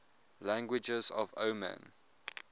languages of oman